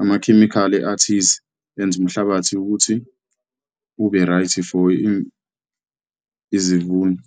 amakhemikhali athize enza umhlabathi ukuthi ube right for izivuno.